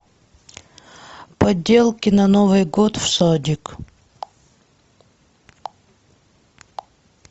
поделки на новый год в садик